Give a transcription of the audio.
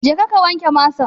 Jeka ka wanke masan!